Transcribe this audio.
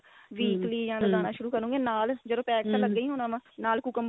weekly ਜਾ ਲਾਣਾ ਸ਼ੁਰੂ ਕਰੋਗੇ ਨਾਲ ਜਦੋ pack ਤਾਂ ਲੱਗਿਆ ਈ ਹੋਣਾ ਨਾ ਨਾਲ cucumber